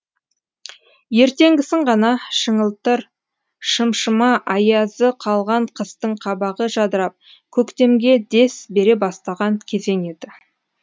ертеңгісін ғана шыңылтыр шымшыма аязы қалған қыстың қабағы жадырап көктемге дес бере бастаған кезең еді